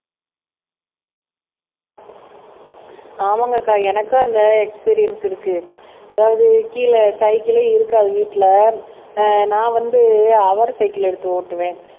ஆமாங்க அக்கா எனக்கும் அந்த எக்ஸ்பிரியென்ஸ் இருக்கு அதாவது கீழே சைக்கிளே இருக்காது வீட்டுல ஆஹ் நான் வந்து ஹௌர் சைக்கிள் எடுத்து ஓட்டுவேன்